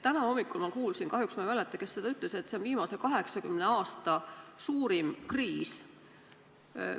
Täna hommikul ma kuulsin – kahjuks ma ei mäleta, kes seda ütles –, et see on viimase 80 aasta suurim kriis.